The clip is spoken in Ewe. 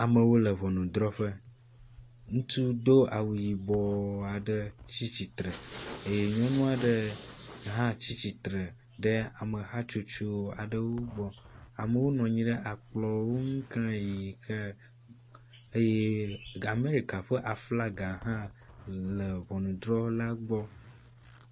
Amewo le ŋɔnudrɔ̃ƒe, ŋutsu do awu yibɔ aɖe tsi tsitre eye nyɔnu aɖe hã tsi tsitre ɖe ame hatsotso aɖewo gbɔ. Amewo nɔ anyi ɖe akplɔ ŋu klayi eye Amerika ƒe aflaga hã le ŋɔnudrɔ̃la gbɔ.